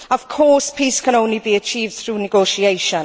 Of course, peace can only be achieved through negotiation.